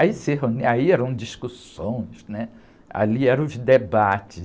Aí se reun, aí eram discussões, né? Ali eram os debates,